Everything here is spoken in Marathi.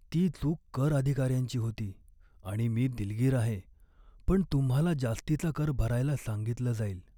ती चूक कर अधिकाऱ्यांची होती, आणि मी दिलगीर आहे, पण तुम्हाला जास्तीचा कर भरायला सांगितलं जाईल.